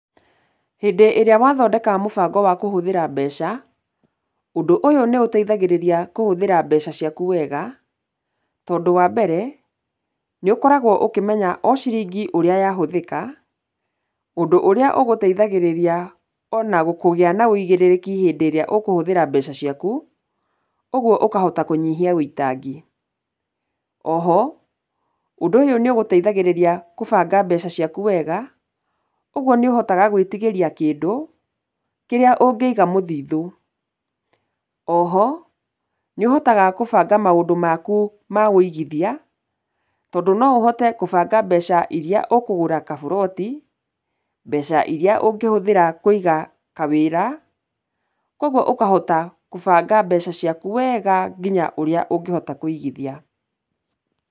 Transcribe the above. Hĩndĩ ĩrĩa wathondeka mũbango wa kũhũthĩra mbeca, ũndũ ũyũ nĩ ũteithagĩrĩria kũhũthĩra mbeca ciaku wega tondũ wa mbere, nĩ ũkoragwo ũkĩmenya o ciringi ũrĩa yahũthĩka, ũndũ ũrĩa ũgũteithagĩrĩria ona kũgĩa na wũigĩrĩrĩki hĩndĩ ĩrĩa ũkũhũthĩra mbeca ciaku, ũguo ũkahota kũnyihia wũitangi. O ho, ũndũ ũyũ nĩ ũgũteithagĩrĩria kũbanga mbeca ciaku wega, ũguo nĩũhotaga gwĩtigĩria kĩndũ kĩrĩa ũngĩiga mũthithũ. O ho, nĩũhotaha kũbanga maũndũ maku ma wũigithia, tondũ no ũhote kubanga mbeca iria ũkũgũra kaburoti, mbeca iria ũngĩhũthĩra Kũiga kawĩra, kwoguo ũkahota kũbanga mbeca ciaku wega nginya ũrĩa ũngĩhota kũigithia.